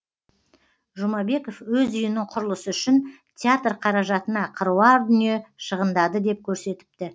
жұмабеков өз үйінің құрылысы үшін театр қаражатына қыруар дүние шығындады деп көрсетіпті